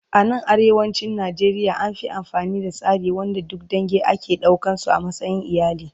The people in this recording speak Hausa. A nan arewacin Najeriya an Fi amfani da tsari wanda duk dange ake ɗaukan su a matsayin iyali